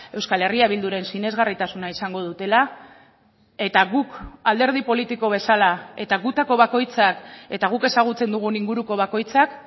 euskal herria bilduren sinesgarritasuna izango dutela eta guk alderdi politiko bezala eta gutako bakoitzak eta guk ezagutzen dugun inguruko bakoitzak